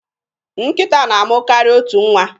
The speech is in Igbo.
Nkịta na-amụ karịa otu nwa.